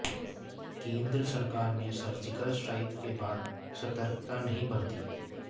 केंद्र सरकार ने सर्जिकल स्ट्राइक के बाद सतर्कता नहीं बरती